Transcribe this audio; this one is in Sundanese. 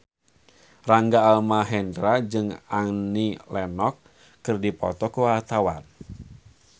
Rangga Almahendra jeung Annie Lenox keur dipoto ku wartawan